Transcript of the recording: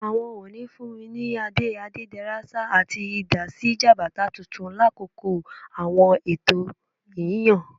Awọn Ooni funni ni ade Adederasa ati idà si Jabata tuntun lakoko awọn ẹtọ yiyan.